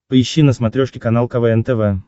поищи на смотрешке канал квн тв